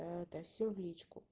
это всё в личку